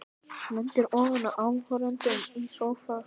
Lendir ofan á áhorfendum í sófa.